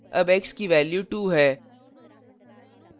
अब x की value 2 है